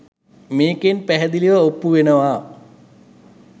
මේකෙන් පැහැදිලිව ඔප්පු වෙනවා